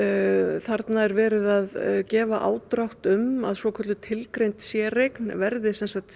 þarna er verið að gefa ádrátt um að svokölluð tilgreind séreign verði